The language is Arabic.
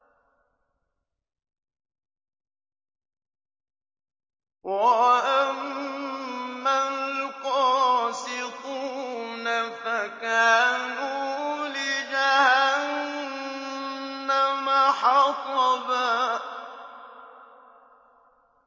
وَأَمَّا الْقَاسِطُونَ فَكَانُوا لِجَهَنَّمَ حَطَبًا